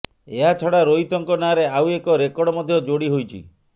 ଏହାଛଡ଼ା ରୋହିତଙ୍କ ନାଁରେ ଆଉ ଏକ ରେକର୍ଡ ମଧ୍ୟ ଯୋଡ଼ି ହୋଇଛି